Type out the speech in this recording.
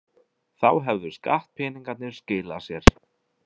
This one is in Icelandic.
Þá hefðu skattpeningarnir skilað sér.